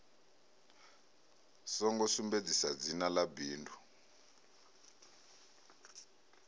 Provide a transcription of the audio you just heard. songo sumbedzisa dzina ḽa bindu